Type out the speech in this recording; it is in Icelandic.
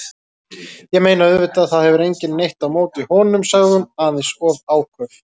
Ég meina, auðvitað, það hefur enginn neitt á móti honum- sagði hún, aðeins of áköf.